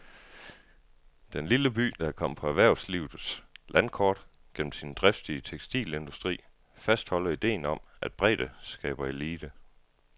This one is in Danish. Den lille by, der er kommet på erhvervslivets landkort gennem sin driftige tekstilindustri, fastholder idéen om, at bredde skaber elite.